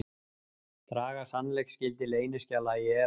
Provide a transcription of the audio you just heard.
Draga sannleiksgildi leyniskjala í efa